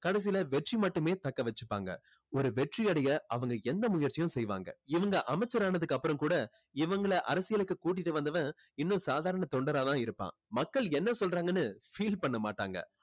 கடைசியில வெற்றி மட்டுமே தக்க வச்சுப்பாங்க. ஒரு வெற்றி அடைய அவங்க எந்த முயற்சியும் செய்வாங்க. இவங்க அமைச்சரான அதுக்கப்புறம் கூட இவங்களை அரசியலுக்கு கூட்டிட்டு வந்தவன் இன்னும் சாதாரண தொண்டரா தான் இருப்பான். மக்கள் என்ன சொல்றாங்கன்னு feel பண்ண மாட்டாங்க.